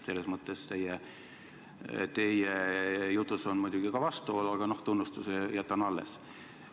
Selles mõttes teie jutus on muidugi ka vastuolu, aga tunnustuse jätan alles.